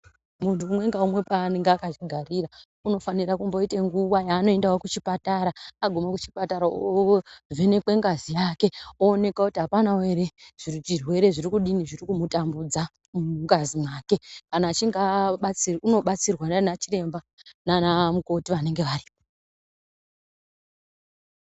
Muntu umwe ngaumwe panenge akazvigarira unofanira kumboite nguwa yanoendawo kuchipatara agume kuchipatara ovhenekwe ngazi yake ooneka kuti apanawo ere zvirwere zvirikudini zvirikumutambudza mungazi mwake kana echinge abatsirwa unobatsirwa nana chiremba nana mukoti vanenge varipo.